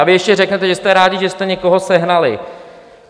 A vy ještě řeknete, že jste rádi, že jste někoho sehnali.